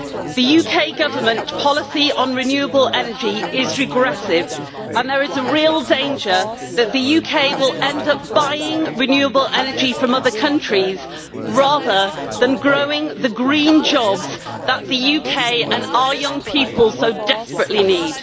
The UK Government policy on renewable energy is regressive, and there is a real danger that the UK will end up buying renewable energy from other countries, rather than growing the green jobs that the UK and our young people so desperately need.